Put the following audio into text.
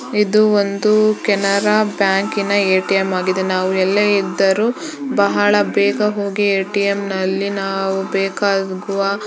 ಇದು ಒಂದು ಕೆನರಾ ಬ್ಯಾಂಕಿನ ಏಟಿಎಂ ಆಗಿದೆ. ನಾವು ಎಲ್ಲೇ ಇದ್ದರೂ ಬಹಳ ಬೇಗ ಹೋಗಿ ಏಟಿಎಂ ನಲ್ಲಿ ನಾವು ಬೇಕಾಗುವ --